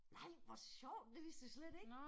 Nej hvor sjovt det vidste jeg slet ikke